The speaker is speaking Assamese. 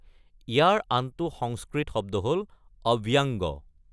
ইয়াৰ আনটো সংস্কৃত শব্দ হ’ল অৱ্যাংগ।